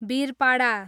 Birpara